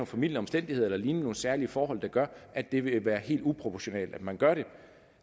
formildende omstændigheder eller lignende nogle særlige forhold der gør at det vil være helt uproportionalt at man gør det